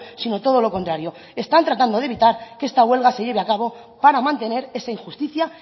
sino todo lo contrario están tratando de evitar que esta huelga se lleve a cabo para mantener esa injusticia